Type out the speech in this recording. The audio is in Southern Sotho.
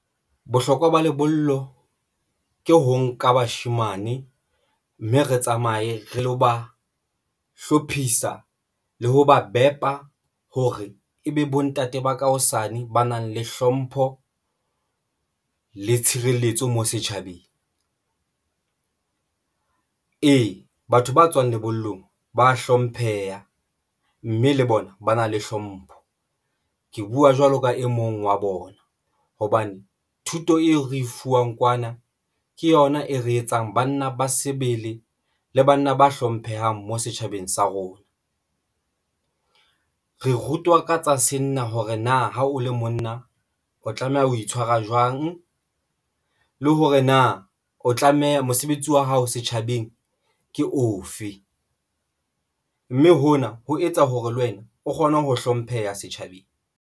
Bohlokwa ba lebollo ke ho nka bashemane mme re tsamaye re lo ba hlophisa le ho ba bepa hore ebe bontate ba ka hosane ba nang le hlompho le tshireletso mo setjhabeng. Ee, batho ba tswang lebollong ba a hlompheha mme le bona ba na le hlompho. Ke buwa jwalo ka e mong wa bona hobane thuto eo re e fuwang kwana, ke yona e re etsang banna ba sebele le banna ba hlomphehang mo setjhabeng sa rona, re rutwa ka tsa senna hore na ha o le monna o tlameha ho itshwara jwang le hore na o tlameha mosebetsi wa hao setjhabeng ke ofe, mme hona ho etsa hore le wena o kgone ho hlompheha setjhabeng.